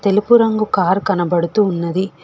తెలుపు రంగు కారు కనబడుతూ ఉన్నది.